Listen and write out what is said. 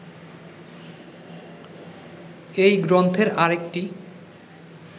এই গ্রন্থের আরেকটি